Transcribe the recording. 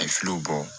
A ye filow bɔ